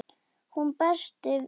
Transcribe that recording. Hún berst við óttann.